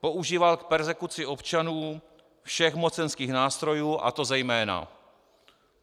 Používal k perzekuci občanů všech mocenských nástrojů, a to zejména: